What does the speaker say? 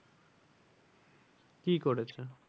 কি করেছে?